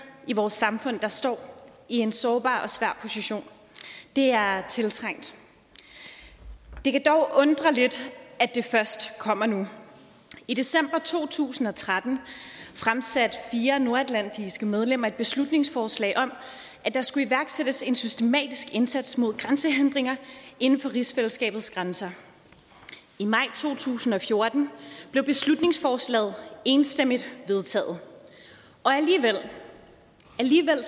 i vores samfund der står i en sårbar og svær position det er tiltrængt det kan dog undre lidt at det først kommer nu i december to tusind og tretten fremsatte fire nordatlantiske medlemmer et beslutningsforslag om at der skulle iværksættes en systematisk indsats mod grænsehindringer inden for rigsfællesskabets grænser i maj to tusind og fjorten blev beslutningsforslaget enstemmigt vedtaget og alligevel